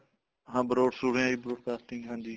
ਹਾਂ broad ਸੁਣਿਆ broadcasting ਹਾਂਜੀ